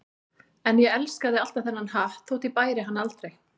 En ég elskaði alltaf þennan hatt þótt ég bæri hann aldrei.